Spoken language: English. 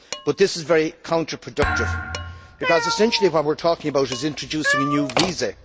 but this is very counter productive because essentially, what we are talking about is introducing a new visa.